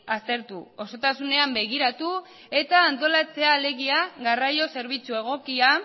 aztertu osotasunean begiratu eta antolatzea alegia garraio zerbitzu egokia